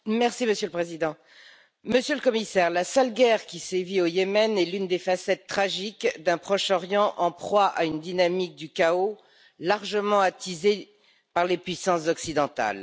Monsieur le Président, Monsieur le Commissaire, la sale guerre qui sévit au Yémen est l'une des facettes tragiques d'un Proche Orient en proie à une dynamique du chaos largement attisée par les puissances occidentales.